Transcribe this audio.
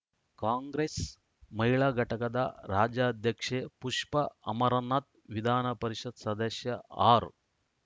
ಕಾಂಗ್ರೆಸ್‌ ಮಹಿಳಾ ಘಟಕದ ರಾಜ್ಯಾಧ್ಯಕ್ಷೆ ಪುಷ್ಪ ಅಮರನಾಥ್‌ ವಿಧಾನ ಪರಿಷತ್‌ ಸದಸ್ಯ ಆರ್‌